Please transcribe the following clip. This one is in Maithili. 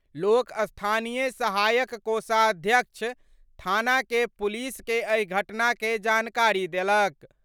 लोक स्थानीय सहायक कोषाध्यक्ष थाना के पुलिस के एहि घटना के जानकारी देलक।